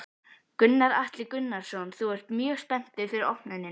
Gunnar Atli Gunnarsson: Þú ert mjög spenntur fyrir opnuninni?